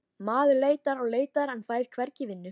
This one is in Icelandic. Maður leitar og leitar en fær hvergi vinnu